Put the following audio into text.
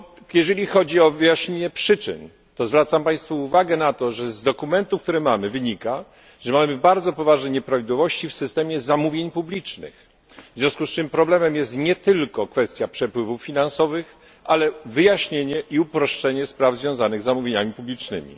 Jeżeli chodzi o wyjaśnienie przyczyn, to zwracam państwu uwagę na to, że z dokumentu, który mamy, wynika, że mamy bardzo poważne nieprawidłowości w systemie zamówień publicznych. W związku z czym problemem jest nie tylko kwestia przepływów finansowych, ale wyjaśnienie i uproszczenie spraw związanych z zamówieniami publicznymi.